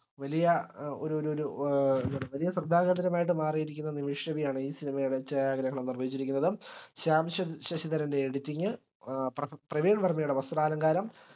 വലിയ ഏർ ഒരൊരൊരു ഏർ വലിയ ശ്രദ്ധകേന്ദ്രമായിട്ടുള്ള നിമിഷബി ആണ് ഈ cinema യുടെ ഛായാഗ്രഹണം നിർവഹിച്ചിരിക്കുന്നത് ശ്യാം ശാശ് ശശിധരന്റെ editing പ്ര പ്രവീൺ വർമയുടെ വസ്ത്രാലങ്കാരം